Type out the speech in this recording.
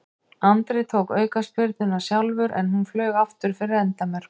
Andri tók aukaspyrnuna sjálfur en hún flaug aftur fyrir endamörk.